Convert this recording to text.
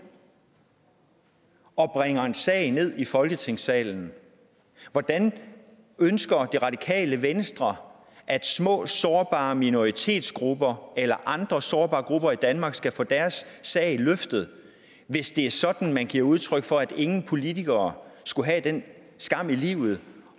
og bringer en sag ned i folketingssalen hvordan ønsker radikale venstre at små sårbare minoritetsgrupper eller andre sårbare grupper i danmark skal få deres sag løftet hvis det er sådan at man giver udtryk for at ingen politikere skulle have den skam i livet